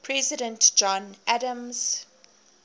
president john adams